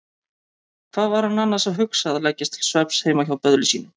Hvað var hann annars að hugsa að leggjast til svefns heima hjá böðli sínum?